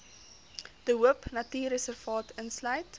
de hoopnatuurreservaat insluit